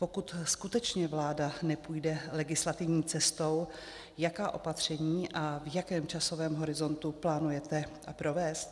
Pokud skutečně vláda nepůjde legislativní cestou, jaká opatření a v jakém časovém horizontu plánujete provést?